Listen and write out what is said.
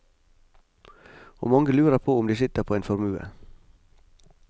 Og mange lurer på om de sitter på en formue.